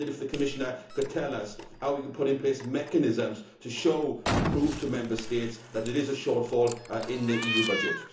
I wonder if the Commissioner could tell us how we can put in place mechanisms to show and prove to Member States that there is a shortfall in the EU budget.